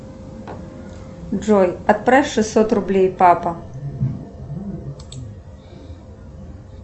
джой отправь шестьсот рублей папа